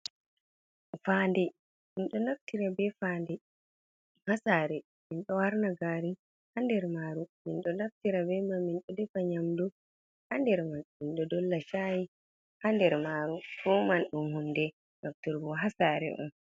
Fande, min ɗo naftira ɓe fande ha sare, min ɗo harna gari ha nder maru. Min ɗo naftira be man min ɗo defa nyamdu ha nder man. Min ɗo dolla shaayi ha nder maru. Fuuman ɗum hunde nafturgo ha sare.